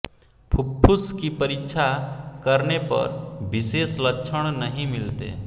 फुफ्फुस की परीक्षा करने पर विशेष लक्षण नहीं मिलते